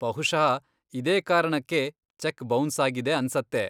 ಬಹುಷಃ ಇದೇ ಕಾರಣಕ್ಕೇ cheque bounce ಆಗಿದೆ ಅನ್ಸತ್ತೆ.